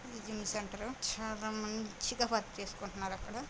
ఇది సెంటర్ చాల మంచిగా వర్క్ చేసుకున్తున్నాఅక్కడ --